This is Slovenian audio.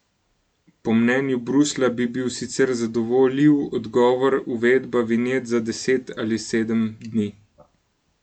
Po mnenju Bruslja bi bil sicer zadovoljiv odgovor uvedba vinjet za deset ali sedem dni.